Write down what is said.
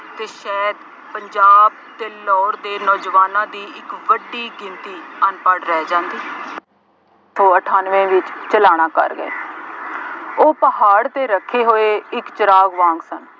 ਅਤੇ ਸ਼ਾਇਦ ਪੰਜਾਬ ਅਤੇ ਲਾਹੌਰ ਦੇ ਨੌਜਵਾਨਾਂ ਦੀ ਇੱਕ ਵੱਡੀ ਗਿਣਤੀ ਅਨਪੜ੍ਹ ਰਹਿ ਜਾਦੀ। ਅਤੇ ਅਠਾਨਵੇਂ ਵਿੱਚ ਚਲਾਣਾ ਕਰ ਗਏ। ਉਹ ਪਹਾੜ ਤੇ ਰੱਖੇ ਹੋਏ ਇੱਕ ਚਿਰਾਗ ਵਾਂਗ ਸਨ